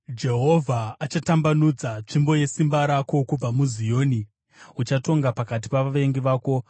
Jehovha achatambanudza tsvimbo yesimba rako kubva muZioni; uchatonga pakati pavavengi vako.